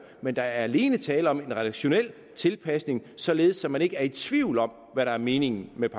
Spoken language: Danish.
men der er alene tale om en redaktionel tilpasning således at man ikke er i tvivl om hvad der er meningen med